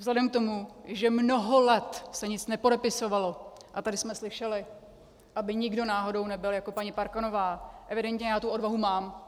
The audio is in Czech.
Vzhledem k tomu, že mnoho let se nic nepodepisovalo, a tady jsme slyšeli, aby nikdo náhodou nebyl jako paní Parkanová, evidentně já tu odvahu mám.